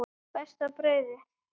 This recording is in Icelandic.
Besta brauðið